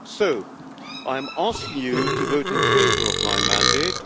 So I am asking you to vote in favour of my mandate.